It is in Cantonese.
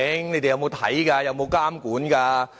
你們有沒有看、有沒有監管？